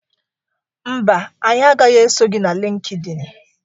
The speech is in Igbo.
Mba, anyị agaghị eso gị na LịnkedỊnị.